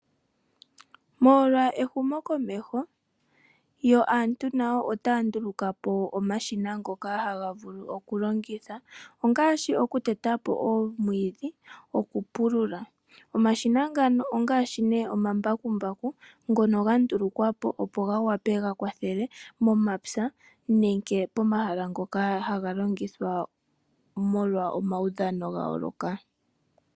Molwa ehumokomeho yo aantu otaya ndulukapo omashina ngoka haga vulu oku longithwa ongaashi oku tetapo omwiidhi, oku pulula. Omashina ngano ongaashi nee omambakumbaku, ngono ga ndulukwapo opo ga wape oku kwathela momapya nenge pomahala ngoka haga longithwa molwa omaudhano gayooloka.